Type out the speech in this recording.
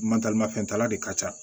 Mataramafɛntala de ka ca